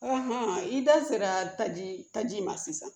i da sera taji taji ma sisan